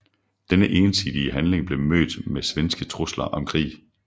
Denne ensidige handling blev mødt med svenske trusler om krig